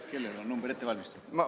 Kellel on number ette valmistatud?